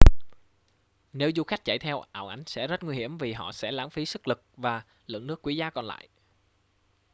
nếu du khách chạy theo ảo ảnh sẽ rất nguy hiểm vì họ sẽ lãng phí sức lực và lượng nước quý giá còn lại